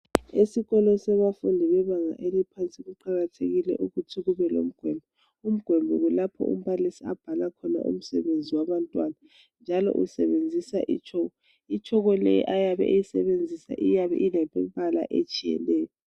Esikolo sabafundi bebanga eliphansi kuqakathekile ukuthi kubelomgoli, umgoli kulapho umbalisi abhala khona umsebenzi wabantwana, njalo usebenzisa itshoko. Itshoko le ayabe eyisebenzisa iyabe ilemibala etshiyeneyo